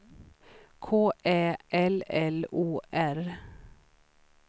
K Ä L L O R